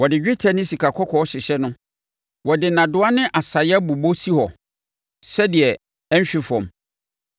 Wɔde dwetɛ ne sikakɔkɔɔ hyehyɛ no; wɔde nnadewa ne asaeɛ bobɔ si hɔ sɛdeɛ ɛrenhwe fam.